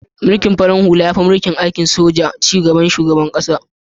Mulkin farar hula ya fi mulkin soji yin aiyyukan cigaban ƙasa.